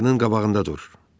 Maşının qabağında dur.